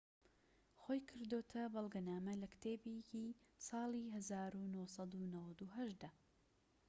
خۆی کردۆتە بەڵگەنامە لە کتێبێکی ساڵی ١٩٩٨ دا